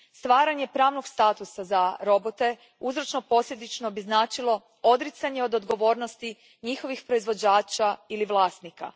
Stvaranje pravnog statusa za robote uzročno posljedično bi značilo odricanje od odgovornosti njihovih proizvođača ili vlasnika.